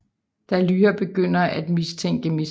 Da Lyra begynder af mistænke Mrs